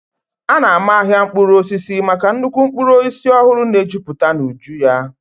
A na-ama ahịa mkpụrụ osisi maka nnukwu mkpụrụ osisi ọhụrụ na-ejuputa n'uju ya.